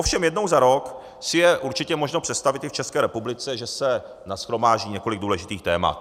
Ovšem jednou za rok si je určitě možno představit i v České republice, že se nashromáždí několik důležitých témat.